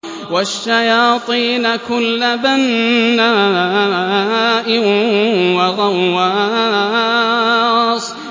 وَالشَّيَاطِينَ كُلَّ بَنَّاءٍ وَغَوَّاصٍ